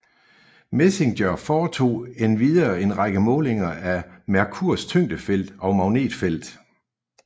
MESSENGER foretog endvidere en række målinger af Merkurs tyngdefelt og magnetfelt